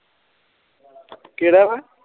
ਕਿਹੜਾ